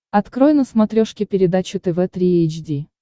открой на смотрешке передачу тв три эйч ди